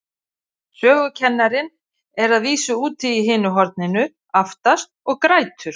Sögukennarinn er að vísu úti í hinu horninu, aftast, og grætur.